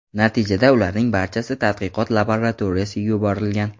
Natijada ularning barchasi tadqiqot laboratoriyasiga yuborilgan.